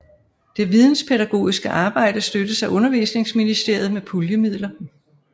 Det videnspædagogiske arbejde støttes af Undervisningsministeriet med puljemidler